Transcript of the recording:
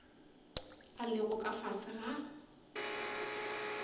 a lego ka fase ga